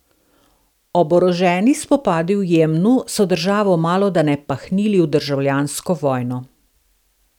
Oboroženi spopadi v Jemnu so državo malodane pahnili v državljansko vojno.